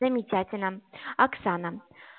замечательно оксана